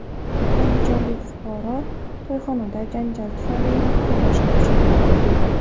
Andijonlik fuqaro to‘yxonada janjal tufayli mahalladoshini pichoqladi.